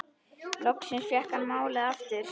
Loksins fékk hann málið aftur.